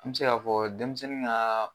An be se ka fɔ denmisɛnnin ŋaa